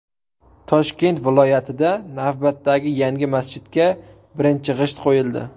Toshkent viloyatida navbatdagi yangi masjidga birinchi g‘isht qo‘yildi.